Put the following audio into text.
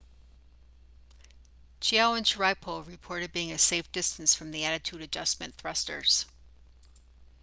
chiao and sharipov reported being a safe distance from the attitude adjustment thrusters